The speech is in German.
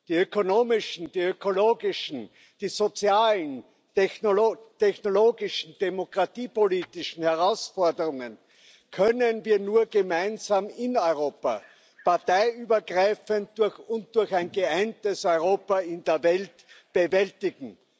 Die ökonomischen, die ökologischen, die sozialen, technologischen, demokratiepolitischen Herausforderungen können wir nur gemeinsam in Europa parteiübergreifend und durch ein geeintes Europa in der Welt bewältigen.